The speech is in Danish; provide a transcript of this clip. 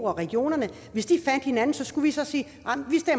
og regionerne hvis de fandt hinanden skulle vi så sige